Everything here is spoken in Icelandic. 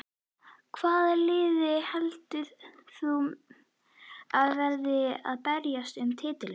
Hvaða lið heldur þú að verði að berjast um titilinn?